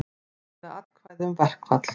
Greiða atkvæði um verkfall